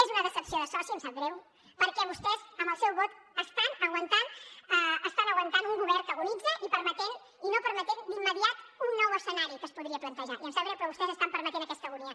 és una decepció de soci em sap greu perquè vostès amb el seu vot estan aguantant un govern que agonitza i no permetent d’immediat un nou escenari que es podria plantejar i em sap greu però vostès estan permetent aquesta agonia